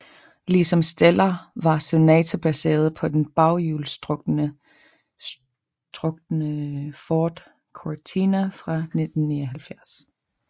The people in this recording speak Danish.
Ligesom Stellar var Sonata baseret på den baghjulstrukne Ford Cortina fra 1979